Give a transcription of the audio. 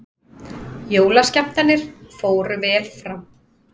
Jólaskemmtanir fóru vel fram